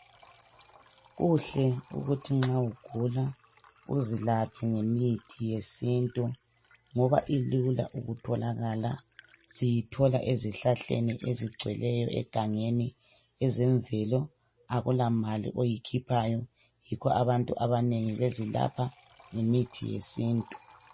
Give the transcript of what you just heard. Kuhle ukuthi nxa ugula uzilaphe ngemithi yesintu ngoba ilula ukutholakala siyithola ezihlahleni ezigcweleyo egangeni ezemvelo akula mali oyikhiphayo yikho abantu abantu abanengi bezilapha ngemithi yesintu.